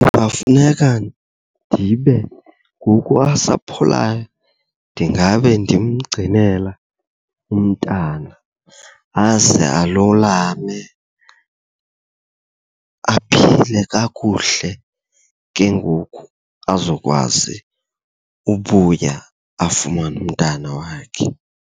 Kungafuneka ndibe ngoku asapholayo ndingabe ndimgcinela umntana aze alulame, aphile kakuhle. Ke ngoku azokwazi ubuya afumane umntana wakhe.